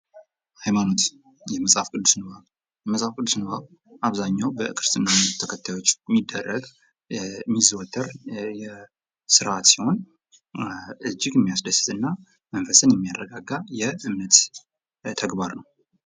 ሃይማኖት የመፅሐፍ ቅዱስ ንባብ የመፅሐፍ ቅዱስ ንባብ በአብዛኛው በክርስትና እምነት ተከታዮች የሚደረግ የሚዘወተር ስርዓት ሲሆን እጅግ የሚያስደስት እና መንፈስን የሚያረጋጋ የእምነት ተግባር ነው::